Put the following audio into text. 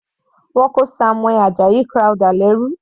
Wọ́n kó Samuel Ajayi Crowther lẹ́rú.